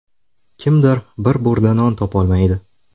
Kimdir bir burda non topolmaydi.